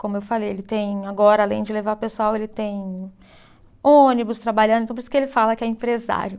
Como eu falei, ele tem agora, além de levar pessoal, ele tem ônibus trabalhando, então por isso que ele fala que é empresário.